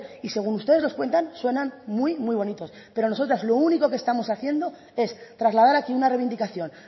y según ustedes nos cuentan suenan muy bonitos pero nosotras lo único que estamos haciendo es trasladar aquí una reivindicación